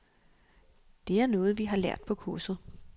Det er noget, vi har lært på kurset.